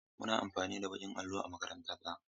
Muna amfani da baƙin allo a makaranta ta.